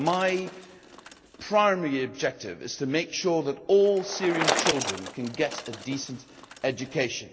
So my primary objective is to make sure that all Syrian children can get a decent education.